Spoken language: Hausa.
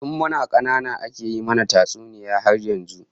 Tun muna kanana ake yi mana tatsuniya har yanzu